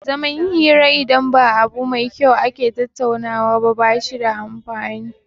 Zaman hira idan ba abu mai kyau ake tattaunawa ba bashi da amfani